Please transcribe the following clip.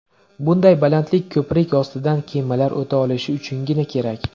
Bunday balandlik ko‘prik ostidan kemalar o‘ta olishi uchungina kerak.